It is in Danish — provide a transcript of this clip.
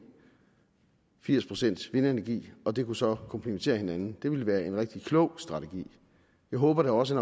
og firs procent vindenergi og det kunne så komplementere hinanden det ville være en rigtig klog strategi jeg håber da også